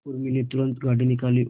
उर्मी ने तुरंत गाड़ी निकाली और